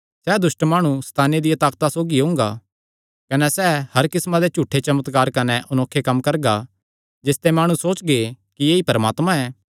सैह़ दुष्ट माणु सैताने दिया ताकता सौगी ओंगा कने सैह़ हर किस्मां दे झूठे चमत्कार कने अनोखे कम्म करगा जिसते माणु सोचगे कि ऐई परमात्मा ऐ